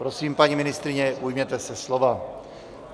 Prosím, paní ministryně, ujměte se slova.